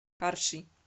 карши